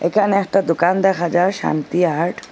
এখানে একটা দোকান দেখা যার শান্তি আর্ট ।